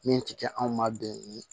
Min ti kɛ anw ma bɛn ni ye